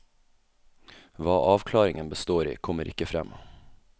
Hva avklaringen består i, kommer ikke frem.